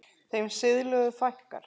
Þeim siðlegu fækkar.